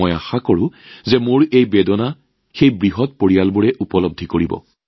আশাকৰোঁ মোৰ এই মৰ্মবেদনা নিশ্চয় সেই ডাঙৰ পৰিয়ালবোৰে উপলব্ধি কৰিব